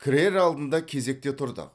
кірер алдында кезекте тұрдық